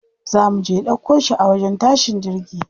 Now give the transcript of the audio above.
Za muje ɗauko shi a wajen tashin jirgi.